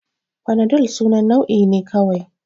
Fanadal sunan nau'i ne kawai